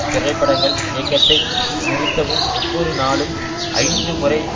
திரைப்படங்கள் இயக்கத்தை நிறுத்தவும் ஒவ்வொரு நாளும் ஐந்து முறை